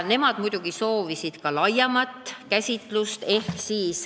Nemad muidugi soovisid ka laiemat käsitlust.